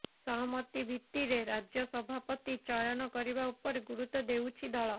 ସହମତି ଭିତ୍ତିରେ ରାଜ୍ୟ ସଭାପତି ଚୟନ କରିବା ଉପରେ ଗୁରୁତ୍ୱ ଦେଉଛି ଦଳ